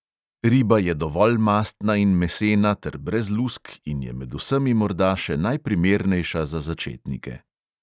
Riba je dovolj mastna in mesena ter brez lusk in je med vsemi morda še najprimernejša za začetnike.